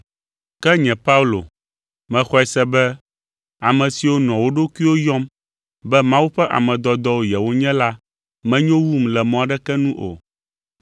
Ke nye Paulo mexɔe se be ame siwo nɔa wo ɖokuiwo yɔm be Mawu ƒe ame dɔdɔwo yewonye la menyo wum le mɔ aɖeke nu o.